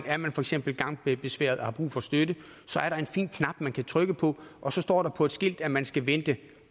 er man for eksempel gangbesværet og har brug for støtte er der en fin knap man kan trykke på og så står der på et skilt at man skal vente